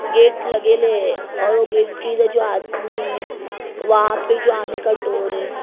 Gate लगेले और gate की जो आदमी वहाँ पे जो आने का डोर है ।